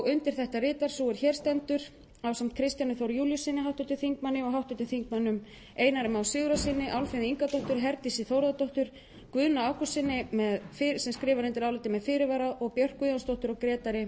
undir þetta ritar sú er hér stendur ásamt kristjáni þór júlíussyni háttvirtur þingmaður og háttvirtum þingmönnum einari má sigurðarsyni álfheiði ingadóttur herdísi þórðardóttur guðna ágústssyni með fyrirvara björk guðjónsdóttur og grétari